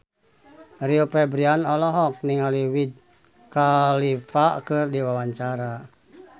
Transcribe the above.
Rio Febrian olohok ningali Wiz Khalifa keur diwawancara